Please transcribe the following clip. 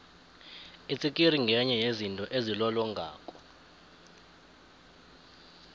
itsikiri ngenye yezinto ezilolongako